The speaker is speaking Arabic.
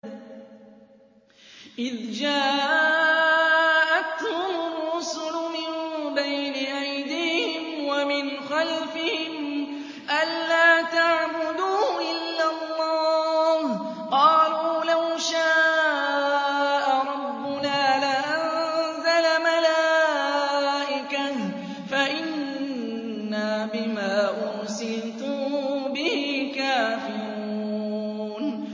إِذْ جَاءَتْهُمُ الرُّسُلُ مِن بَيْنِ أَيْدِيهِمْ وَمِنْ خَلْفِهِمْ أَلَّا تَعْبُدُوا إِلَّا اللَّهَ ۖ قَالُوا لَوْ شَاءَ رَبُّنَا لَأَنزَلَ مَلَائِكَةً فَإِنَّا بِمَا أُرْسِلْتُم بِهِ كَافِرُونَ